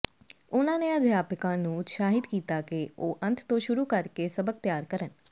ਉਨ੍ਹਾਂ ਨੇ ਅਧਿਆਪਕਾਂ ਨੂੰ ਉਤਸਾਹਿਤ ਕੀਤਾ ਕਿ ਉਹ ਅੰਤ ਤੋਂ ਸ਼ੁਰੂ ਕਰਕੇ ਸਬਕ ਤਿਆਰ ਕਰਨ